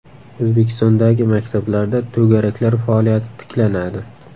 O‘zbekistondagi maktablarda to‘garaklar faoliyati tiklanadi.